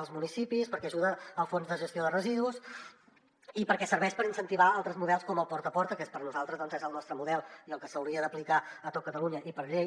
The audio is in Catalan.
els municipis perquè ajuda el fons de gestió de residus i perquè serveix per incentivar altres models com el porta a porta que per nosaltres doncs és el nostre model i el que s’hauria d’aplicar a tot catalunya i per llei